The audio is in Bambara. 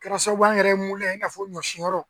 Kɛra sababu ye an yɛrɛ ye i n'a fɔ ɲɔsinyɔrɔ